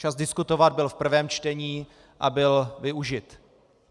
Čas diskutovat byl v prvním čtení a byl využit.